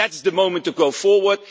That is the moment to go forward.